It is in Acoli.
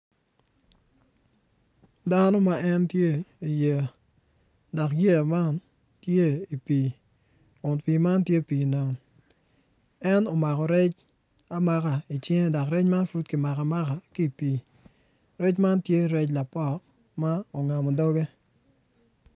Dano ma en tye iyeya dok yeya man tye i pii kun pii man tye pii nam en omako rec amaka icinge dok rec man pud kimako amaka ki i pii rec man tye rec lapok ma ongamo doge.